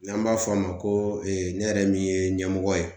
N'an b'a fɔ a ma ko ne yɛrɛ min ye ɲɛmɔgɔ ye